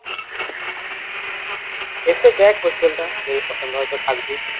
এসে দেখ hostel টা যদি পছন্দ হয় তো থাকবি